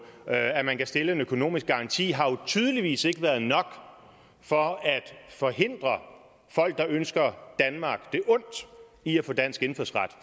og at man kan stille en økonomisk garanti har jo tydeligvis ikke været nok for at forhindre folk der ønsker danmark det ondt i at få dansk indfødsret